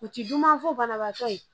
U ti dunya fɔ banabaatɔ ye